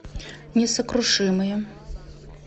несокрушимые